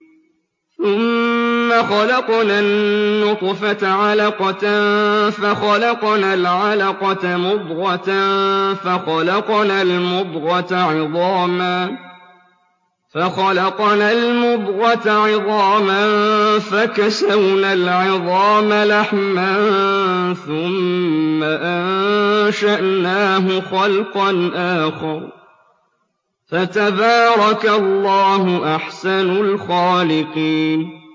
ثُمَّ خَلَقْنَا النُّطْفَةَ عَلَقَةً فَخَلَقْنَا الْعَلَقَةَ مُضْغَةً فَخَلَقْنَا الْمُضْغَةَ عِظَامًا فَكَسَوْنَا الْعِظَامَ لَحْمًا ثُمَّ أَنشَأْنَاهُ خَلْقًا آخَرَ ۚ فَتَبَارَكَ اللَّهُ أَحْسَنُ الْخَالِقِينَ